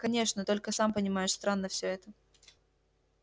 конечно только сам понимаешь странно всё это